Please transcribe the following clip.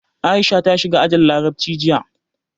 Aisha ta shiga ajin Larabci jiya.